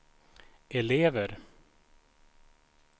elever